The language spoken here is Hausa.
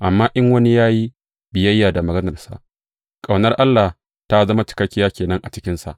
Amma in wani ya yi biyayya da maganarsa, ƙaunar Allah ta zama cikakkiya ke nan a cikinsa.